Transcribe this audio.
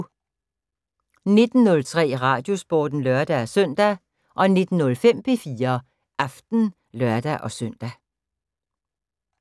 19:03: Radiosporten (lør-søn) 19:05: P4 Aften (lør-søn)